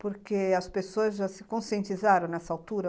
Porque as pessoas já se conscientizaram nessa altura?